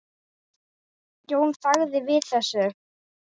Jón þagði við þessu.